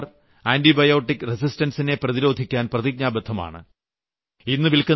നമ്മുടെ സർക്കാർ ആന്റിബയോട്ടിക് റസിസ്റ്റൻസിനെ പ്രതിരോധിക്കാൻ പ്രതിജ്ഞാബദ്ധമാണ്